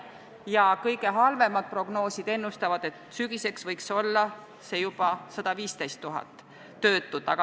Ja kõige halvemad prognoosid ennustavad, et sügiseks võib olla juba 115 000 töötut.